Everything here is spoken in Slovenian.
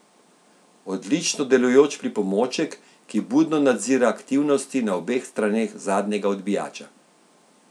Odlično delujoč pripomoček, ki budno nadzira aktivnosti na obeh straneh zadnjega odbijača.